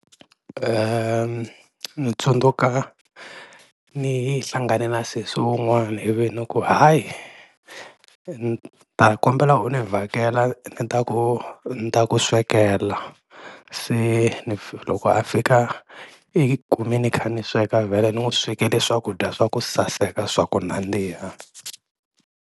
Ni tsundzuka ni yi hlangane na sesi un'wana ivi ni ku hayi ni ta kombela u ni vhakela ni ta ku ni ta ku swekela, se ni loko a fika i kume ni kha ni sweka vhele ni n'wi swekele swakudya swa ku saseka swa ku nandziha.